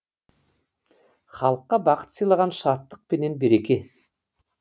халыққа бақыт сыйлаған шаттық пенен береке